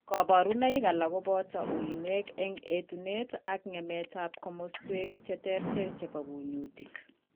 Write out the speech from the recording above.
Kaborunoik alak koboto uinwek eng' etunet ak ng'emetab komaswek cheterter chebo kunyutik